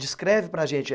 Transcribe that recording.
Descreve para a gente.